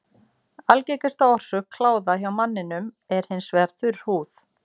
Algengasta orsök kláða hjá manninum er hins vegar þurr húð.